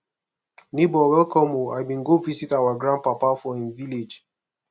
nebor welcome o i bin go visit our grandpapa for him village